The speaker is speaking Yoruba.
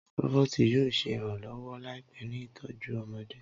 Roboti yoo ṣe iranlọwọ laipẹ ni itọju ọmọde